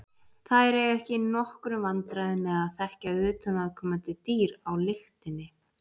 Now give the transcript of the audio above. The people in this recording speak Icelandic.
Þær eiga ekki í nokkrum vandræðum með að þekkja utanaðkomandi dýr á lyktinni.